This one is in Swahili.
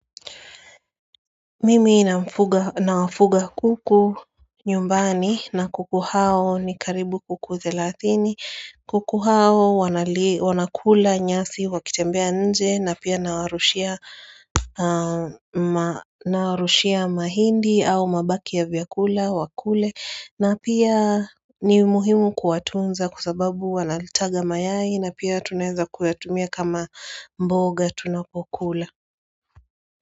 Mimi nawafuga kuku nyumbani na kuku hao ni karibu kuku thelathini kuku hao wanakula nyasi wakitembea nje na pia nawarushia na nawarushia mahindi au mabaki ya vyakula wakule na pia ni muhimu kuwatunza kwa sababu wanayataga mayai na pia tunaeza kuyatumia kama mboga tunapokula.